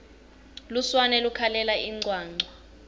lusurane lukhalela incwancwa